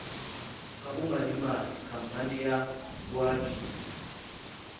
ka bomadimabe khampane ya boabiele